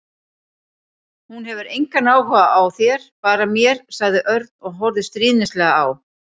Hún hefur engan áhuga á þér, bara mér sagði Örn og horfði stríðnislega á